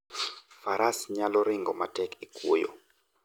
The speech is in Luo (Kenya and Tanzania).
Faras nyalo ringo matek e kwoyo.